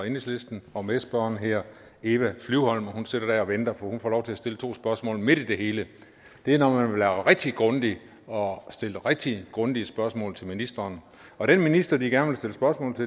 enhedslisten og medspørgeren hedder eva flyvholm og hun sidder der og venter hun får lov til at stille to spørgsmål midt i det hele det er når man vil være rigtig grundig og stille rigtig grundige spørgsmål til ministeren og den minister de gerne